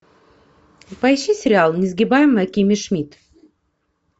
поищи сериал несгибаемая кимми шмидт